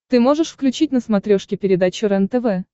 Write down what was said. ты можешь включить на смотрешке передачу рентв